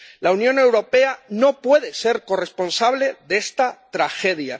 La Unión Europea no puede ser corresponsable de esta tragedia.